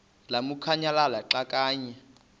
lamukunyamalala xa kanye